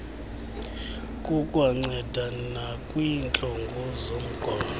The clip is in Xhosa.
kukwanceda nakwiintlungu zomqolo